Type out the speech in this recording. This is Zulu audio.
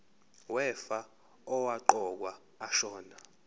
wefa owaqokwa ashona